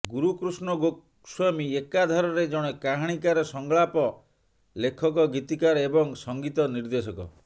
ଗୁରୁକୃଷ୍ଣ ଗୋସ୍ୱାମୀ ଏକାଧାରରେ ଜଣେ କାହାଣୀକାର ସଂଳାପ ଲେଖକ ଗୀତିକାର ଏବଂ ସଙ୍ଗୀତ ନିର୍ଦ୍ଦେଶକ